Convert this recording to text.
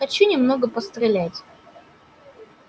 хочу немного пострелять